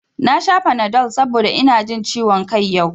Na sha fanadol saboda ina jin ciwon kai yau